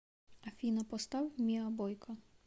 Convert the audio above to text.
афина поставь миа бойка